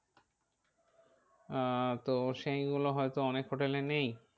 আহ তো সেই গুলো হয় তো অনেক hotel এ নেই।